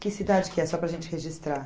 Que cidade que é, só para a gente registrar?